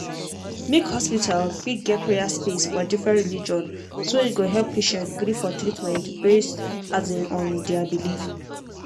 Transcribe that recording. make hospital fit get prayer space for different religion so e go help patient gree for treatment based um on their belief.